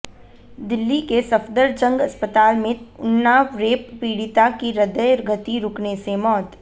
दिल्ली के सफदरजंग अस्पताल में उन्नाव रेप पीड़िता की हृदय गति रुकने से मौत